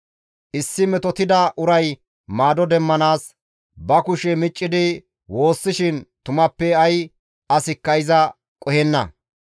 «Issi metotida uray maado demmanaas ba kushe miccidi woossishin tumappe ay asikka iza qohenna.